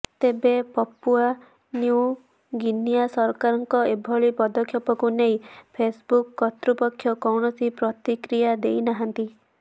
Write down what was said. ତେବେ Papua New Guinea ସରକାରଙ୍କ ଏଭଳି ପଦକ୍ଷେପକୁ ନେଇ ଫେସବୁକ୍ କର୍ତ୍ତୃପକ୍ଷ କୌଣସି ପ୍ରତିକ୍ରିୟା ଦେଇ ନାହାନ୍ତି